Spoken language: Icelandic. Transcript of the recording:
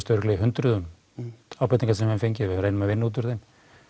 í hundruðum ábendinga sem við höfum fengið við reynum að vinna útúr þeim